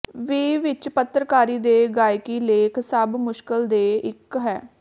ਵੀ ਵਿੱਚ ਪੱਤਰਕਾਰੀ ਦੇ ਗਾਇਕੀ ਲੇਖ ਸਭ ਮੁਸ਼ਕਲ ਦੇ ਇੱਕ ਹੈ